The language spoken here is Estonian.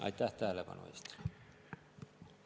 Aitäh tähelepanu eest!